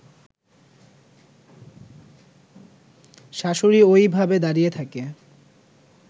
শাশুড়ী ঐভাবে দাঁড়িয়ে থাকে